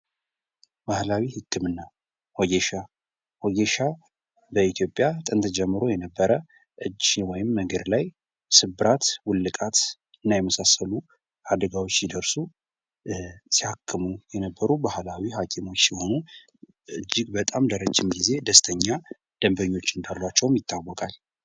ባህላዊ ህክምና ወጌሻ፡-ወጌሻ በኢትዮጵያ ጥንት ጀምሮ የነበረ እጅ ወይም እግር ላይ ስብራት፣ ውልቃት እና የመሳሰሉት አደጋዎች ሲደርሱ ሲያክሙ የነበሩ ባህላዊ ሀኪሞች ሲሆኑ እጅግ በጣም ለረዥም ጊዜ ደስተኛ ደንበኞች እንዳሏቸውም ይታወቃል ።